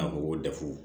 A ko ko dafo